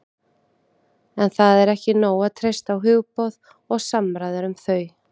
En það er ekki nóg að treysta á hugboð og samræður um þau.